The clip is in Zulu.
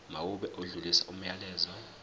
mawube odlulisa umyalezo